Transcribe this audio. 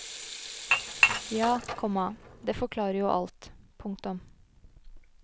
Ja, komma det forklarer jo alt. punktum